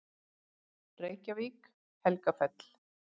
Reykjavík: Helgafell.